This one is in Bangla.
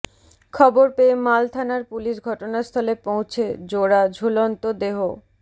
খবর পেয়ে মাল থানার পুলিশ ঘটনাস্থলে পৌঁছে জোড়া ঝুলন্ত দেহ